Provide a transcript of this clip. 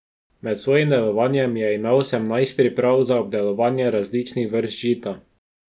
Med svojim delovanjem je imel osemnajst priprav za obdelovanje različnih vrst žita.